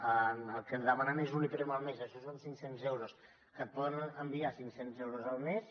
el que et demanen és un iprem al mes això són cinc cents euros que et poden enviar cinc cents euros al mes